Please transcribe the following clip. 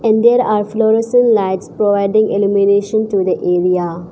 And there are fluorescent lights providing illumination to the area.